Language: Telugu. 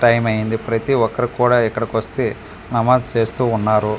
టైమ్ అయింది ప్రతి ఒక్కరు కూడా ఇక్కడ వాచీ నమాజ్ చేస్తూ ఉన్నారు .